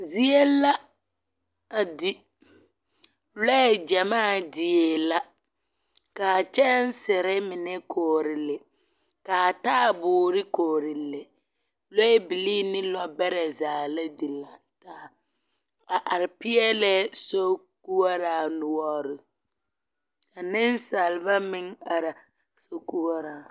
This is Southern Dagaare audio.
Zie la a di. Lɔɛ gyamaa die la ka a kyɛnsere mine kɔɔre le, ka a taaboore kɔɔre le. Lɔɔbilii ne lɔɔbɛrɛ zaa la dire. A are peɛlɛɛ sokoɔraa noɔre. Ka nensaaba meŋ araa sokoɔraa zu.